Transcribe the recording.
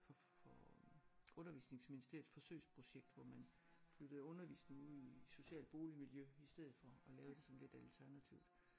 For for undervisningsministeriets forsøgsprojekt hvor man flyttede undervisningen ud i socialt boligmiljø i stedet for og lave det sådan lidt alternativt